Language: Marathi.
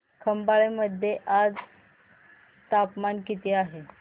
खंबाळे मध्ये आज तापमान किती आहे